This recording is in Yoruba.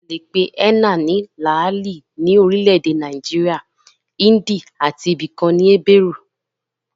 A le pe énà ní làálì ní orile-èdè Nàìjíríà, índì àti ibi kan ní ébérù